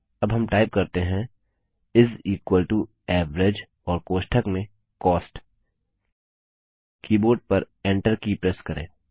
अब हम टाइप करते हैं एवरेज और कोष्ठक में कॉस्ट कीबोर्ड पर Enter की प्रेस करें